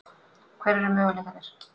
Hverjir eru möguleikarnir?